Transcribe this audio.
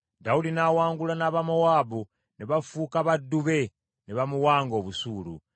Dawudi n’awangula n’Abamowaabu, ne bafuuka baddu be, ne bamuwanga obusuulu.